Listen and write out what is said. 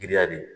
Giriya de